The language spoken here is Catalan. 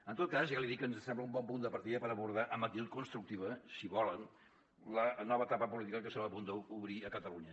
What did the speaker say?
en tot cas ja li dic que ens sembla un bon punt de partida per abordar amb actitud constructiva si volen la nova etapa política que estem a punt d’obrir a catalunya